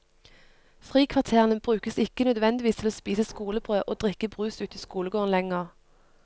Frikvarterene brukes ikke nødvendigvis til å spise skolebrød og drikke brus ute i skolegården lenger.